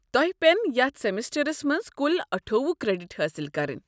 توہہِ پین یتھ سیمسٹرس منٛز کُل اٹھووُہ کریڈٹ حٲصل کرٕنۍ۔